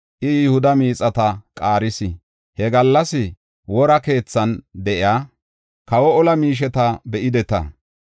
I Yihuda miixata qaaris. He gallas Wora Keethan de7iya kawa olaa miisheta be7ideta.